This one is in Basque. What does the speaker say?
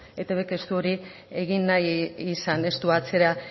eitbk ez du hori egin nahi izan ez du atzera